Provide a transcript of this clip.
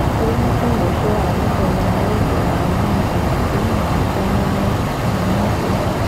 Augĩte mũico wa mũthenya nĩ ũndũ wa mĩena ĩrĩ ĩraciadana gũetha kĩhonĩa kĩu